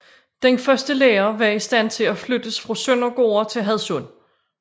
Den første lærer var i stand til at flyttes fra Søndergårde til Hadsund